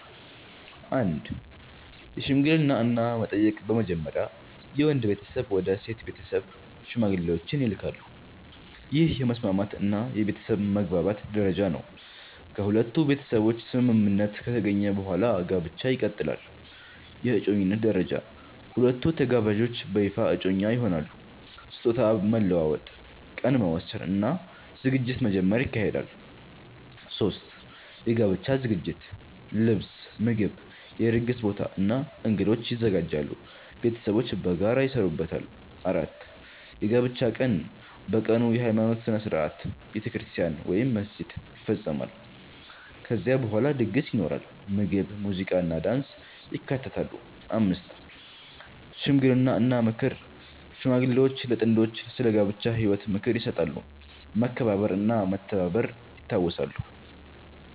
1) የሽምግልና እና መጠየቅ በመጀመሪያ የወንድ ቤተሰብ ወደ ሴት ቤተሰብ ሽማግሌዎችን ይልካሉ። ይህ የመስማማት እና የቤተሰብ መግባባት ደረጃ ነው። ከሁለቱ ቤተሰቦች ስምምነት ከተገኘ በኋላ ጋብቻ ይቀጥላል። 2) የእጮኝነት ደረጃ ሁለቱ ተጋባዦች በይፋ እጮኛ ይሆናሉ። ስጦታ መለዋወጥ፣ ቀን መወሰን እና ዝግጅት መጀመር ይካሄዳል። 3) የጋብቻ ዝግጅት ልብስ፣ ምግብ፣ የድግስ ቦታ እና እንግዶች ይዘጋጃሉ። ቤተሰቦች በጋራ ይሰሩበታል። 4) የጋብቻ ቀን በቀኑ የሃይማኖት ሥነ ሥርዓት (ቤተክርስቲያን ወይም መስጊድ) ይፈጸማል። ከዚያ በኋላ ድግስ ይኖራል፣ ምግብ፣ ሙዚቃ እና ዳንስ ይካተታሉ። 5) ሽምግልና እና ምክር ሽማግሌዎች ለጥንዶቹ ስለ ጋብቻ ህይወት ምክር ይሰጣሉ፣ መከባበር እና መተባበር ይታወሳሉ።